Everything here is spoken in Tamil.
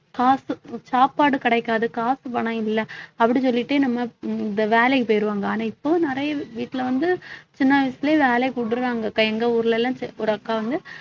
காசு சாப்பாடு கிடைக்காது காசு பணம் இல்லை அப்படி சொல்லிட்டு நம்ம இந்த வேலைக்கு போயிருவாங்க ஆனா இப்போ நிறைய வீட்டுல வந்து சின்ன வயசுலயே வேலையை விடறாங்க எங்க ஊர்ல எல்லாம் ஒரு அக்கா வந்து